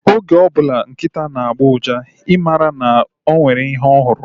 Oge ọbụla nkịta na-agbọ uja, I mara na o nwere ihe ọ hụrụ